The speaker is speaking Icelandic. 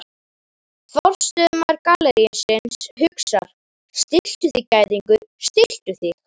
Forstöðumaður gallerísins hugsar: Stilltu þig gæðingur, stilltu þig.